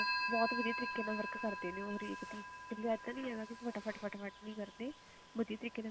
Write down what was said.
ਬਹੁਤ ਵਧੀਆ ਤਰੀਕੇ ਨਾਲ work ਕਰਦੇ ਨੇ ਉਹ ਹਰੇਕ ਤੇ ਮਤਲਬ ਇੱਦਾਂ ਨੀ ਹੈਗਾ ਵੀ ਤੁਹਾਡਾ ਫਟਾ ਫਟ ਨੀ ਕਰਦੇ ਦੇਖ